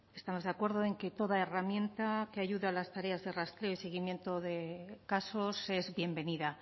estamos de acuerdo en que toda herramienta que ayuda a las tareas de rastreo y seguimiento de casos es bienvenida